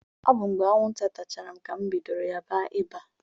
Ọ bụ mgbe anwụnta tachara m ka m bidoro ya ba ịba.